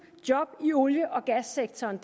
job i olie og gassektoren